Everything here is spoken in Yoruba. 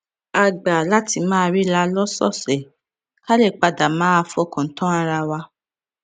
a gbà láti máa ríra lósòòsè ká lè pa dà máa fọkàn tán ara wa